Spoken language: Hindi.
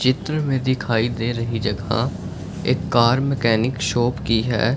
चित्र में दिखाई दे रही जगह एक कार मैकेनिक शॉप की है।